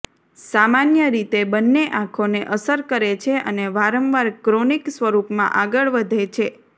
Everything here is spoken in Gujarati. સામાન્ય રીતે બંને આંખોને અસર કરે છે અને વારંવાર ક્રોનિક સ્વરૂપમાં આગળ વધે છે